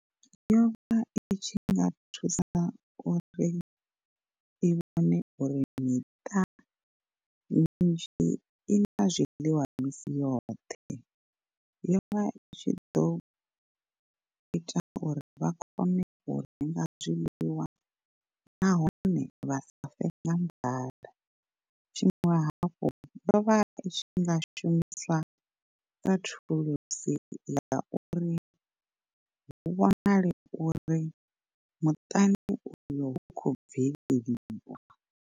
Yovha i tshi nga thusa uri i vhone uri miṱa mizhi i na zwiḽiwa misi yoṱhe, yovha i tshi ḓo ita uri vha kone u renga zwiḽiwa nahone vha sa fe nga nḓala. Tshiṅwe hafhu yovha itshi nga shumiswa sa thulusi ya uri hu vhonale uri muṱani uyo hukho bveleliwa.